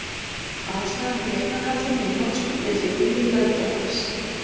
Ástæðan fyrir eignarhaldinu í hnotskurn er því vilji löggjafans.